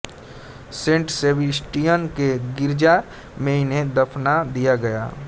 Saint Sebastian के गिरजा में इन्हें दफना दिया गया